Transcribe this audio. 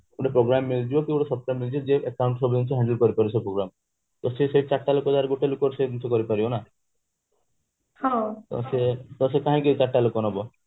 ଗୋଟେ programme ମିଳିଯିବ ଗୋତ୍ଵ software ମିଳିଯିବ ଯିଏ account ସବୁକିଛି handle କରିପାରୁଥିବ ତ ସେ ସେଇ ଚାରିଟା ଲୋକ ଜାଗାରେ ଗୋଟେ ଲୋକକୁ ସେମିତି କରିପାରିବ ନା ତ ସେ କାହିଁକି ଚାରିଟା ଲୋକ ନବ